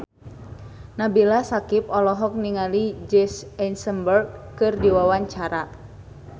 Nabila Syakieb olohok ningali Jesse Eisenberg keur diwawancara